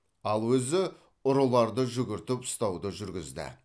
ал өзі ұрыларды жүгіртіп ұстауды жүргізді